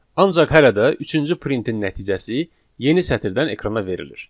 Ancaq hələ də üçüncü printin nəticəsi yeni sətirdən ekrana verilir.